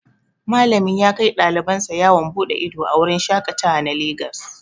Malami yakai ɗaliban sa yawon bude ido a wurin shaƙatawa na lagos.